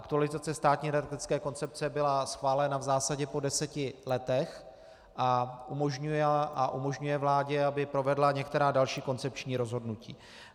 Aktualizace státní energetické koncepce byla schválena v zásadě po deseti letech a umožňuje vládě, aby provedla některá další koncepční rozhodnutí.